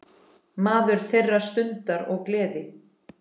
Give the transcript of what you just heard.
Maður þeirrar stundar og gleði.